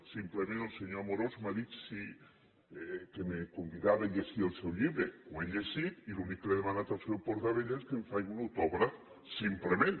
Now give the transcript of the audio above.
simplement el senyor amorós m’ha dit que me convidava a llegir el seu llibre l’he llegit i l’únic que li he demanat al senyor portabella és que em faci un autògraf simplement